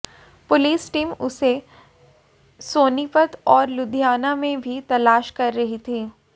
police team उसे सोनीपत और लुधियाना में भी तलाश कर रही थी